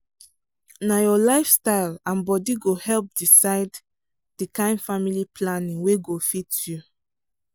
na your lifestyle and body go help decide the kind family planning wey go fit you.